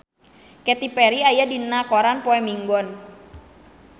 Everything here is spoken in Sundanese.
Katy Perry aya dina koran poe Minggon